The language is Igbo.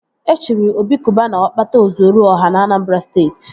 E chiri Obi Cubana Ọkpata ọ zuoru ọha na Anambra Steeti